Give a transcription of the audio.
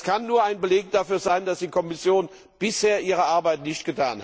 Das kann nur ein Beleg dafür sein, dass die Kommission bisher ihre Arbeit nicht